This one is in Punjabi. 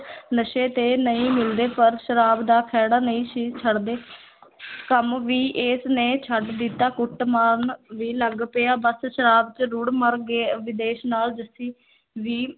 ਨਸ਼ੇ ਤੇ ਨਹੀਂ ਮਿਲਦੇ ਪਰ ਸ਼ਾਰਾਬ ਦਾ ਖਹਿੜਾ ਨਹੀਂ ਸੀ ਛੱਡਦੇ ਕੰਮ ਵੀ ਏਸ ਨੇ ਛੱਡ ਦਿੱਤਾ, ਕੁੱਟ ਮਾਰਨ ਵੀ ਲੱਗ ਪਿਆ ਬਸ ਸ਼ਾਰਾਬ ਚ ਰੁੜ ਮਰ ਗਿਆ, ਵਿਦੇਸ ਨਾਲ ਜੱਸੀ ਵੀ